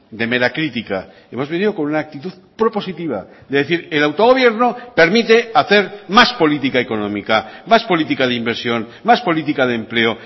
de mera crítica hemos venido con una actitud propositiva de decir el autogobierno permite hacer más política económica más política de inversión más política de empleo